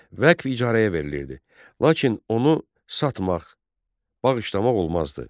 Vəqf icarəyə verilirdi, lakin onu satmaq, bağışlamaq olmazdı.